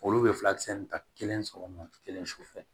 Olu bɛ filakisɛ ninnu ta kelen sɔgɔma kelen su fɛ